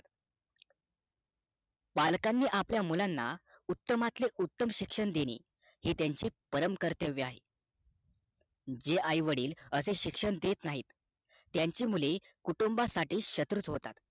पालकांनी आपल्या मुलांना उत्तमातले उत्तम शिक्षण देणे हे त्यांचे परम कर्तव्य आहे जे आईवडील अशे शिक्षण देत नाही त्यांची मुले कुटुंबा साठी शत्रु होतात